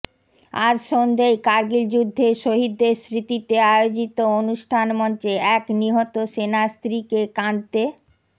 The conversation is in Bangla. আজ সন্ধ্যেয় কার্গিল যুদ্ধের শহিদদের স্মৃতিতে আয়োজিত অনুষ্ঠান মঞ্চে এক নিহত সেনার স্ত্রীকে কাঁদতে